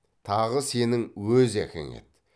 тағы сенің өз әкең еді